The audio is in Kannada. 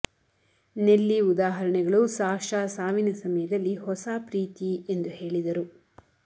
ನೆಲ್ಲಿ ಉದಾಹರಣೆಗಳು ಸಾಶಾ ಸಾವಿನ ಸಮಯದಲ್ಲಿ ಹೊಸ ಪ್ರೀತಿ ಎಂದು ಹೇಳಿದರು